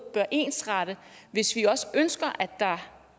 bør ensrette hvis vi også ønsker at der